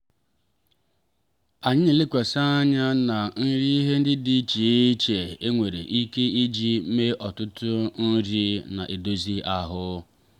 anyị na-elekwasị anya na ihe nri ndị dị iche iche enwere ike iji mee ọtụtụ nri na-edozi ahụ.